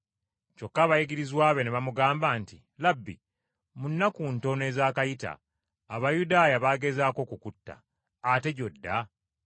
Kyokka abayigirizwa be, ne bamugamba nti, “Labbi, mu nnaku ntono ezaakayita Abayudaaya baagezaako okukutta. Ate gy’odda?”